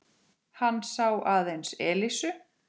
Hann sá aðeins Elísu.